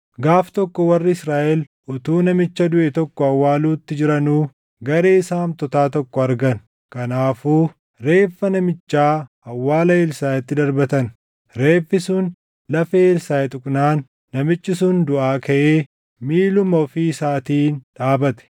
Gaaf tokko warri Israaʼel utuu namicha duʼe tokko awwaaluutti jiranuu garee saamtotaa tokko argan; kanaafuu reeffa namichaa awwaala Elsaaʼitti darbatan. Reeffi sun lafee Elsaaʼi tuqnaan namichi sun duʼaa kaʼee miiluma ofii isaatiin dhaabate.